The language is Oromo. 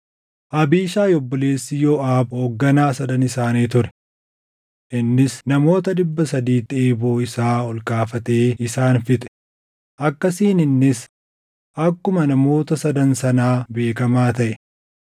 Abiishaayi obboleessi Yooʼaab hoogganaa Sadan isaanii ture. Innis namoota dhibba sadiitti eeboo isaa ol kaafatee isaan fixe; akkasiin innis akkuma namoota Sadan sanaa beekamaa taʼe.